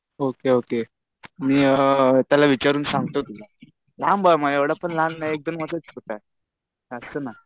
Okay okay. मी त्याला विचारून सांगतो तुला. लहान भाऊ आहे माझा. एवढा पण लहान नाही एकदम मोठा दिसत आहे. असतं ना.